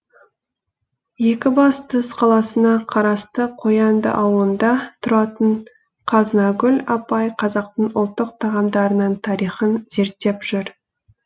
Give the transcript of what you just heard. екібастұз қаласына қарасты қоянды ауылында тұратын қазынагүл апай қазақтың ұлттық тағамдарының тарихын зерттеп жүр